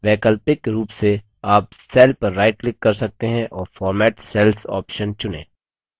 वैकल्पिक रूप से आप cell पर right click कर सकते हैं और format cells option चुनें